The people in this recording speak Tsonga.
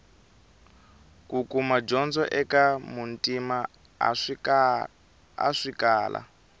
kukuma dyondzo eka muntima a swi kala